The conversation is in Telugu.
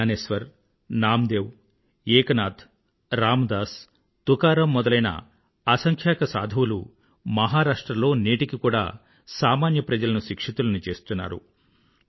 Gnaneshwar Namdev Eknath Ramdas Tukaram మొదలైన అసంఖ్యాక సాధువులు మాహారాష్ట్ర లో నేటికీ కూడా సామాన్య ప్రజలను శిక్షితులను చేస్తున్నారు